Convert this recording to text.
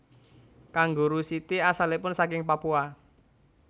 Kanguru siti asalipun saking Papua